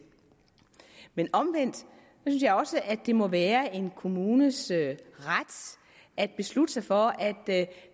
men omvendt synes jeg også at det må være en kommunes ret at beslutte sig for at